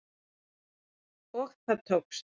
Og það tókst